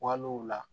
Walew la